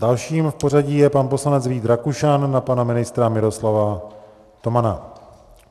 Dalším v pořadí je pan poslanec Vít Rakušan na pana ministra Miroslava Tomana.